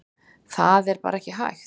Það er bara ekki hægt